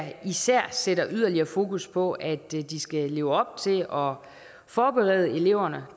især sætter yderligere fokus på at de skal leve op til og forberede eleverne